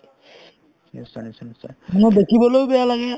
নিশ্চয় নিশ্চয় নিশ্চয় মানুহৰ দেখিবলৈও বেয়া লাগে